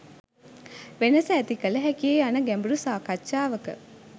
වෙනස ඇති කළ හැකිය යන ගැඹුරු සාකච්ඡාවක